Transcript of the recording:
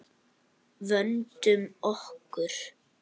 Vöndum okkur.